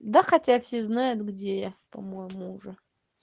да хотя все знают где я по-моему уже